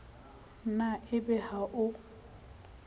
na e be ha o